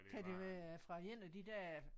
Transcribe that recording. Kan det være fra en af de der